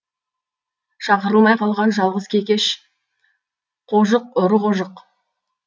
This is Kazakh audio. шақырылмай қалған жалғыз кекеш қожық ұры қожық